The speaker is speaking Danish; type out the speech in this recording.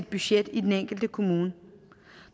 budget i den enkelte kommune